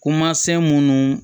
Kumasen munnu